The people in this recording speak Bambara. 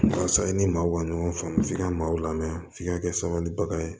Walasa i ni maaw ka ɲɔgɔn faamu f'i ka maaw lamɛn f'i ka kɛ sabalibaga ye